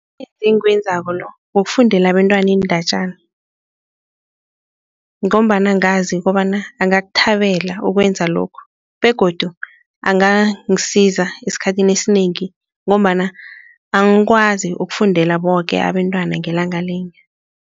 Engiwenzako lo wokufundela abentwana iindatjana ngombana ngazi kobana angakuthabela ukwenza lokhu begodu angangisiza esikhathini esinengi ngombana angikwazi ukufundela boke abentwana ngelanga linye.